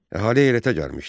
Əhali heyrətə gəlmişdi.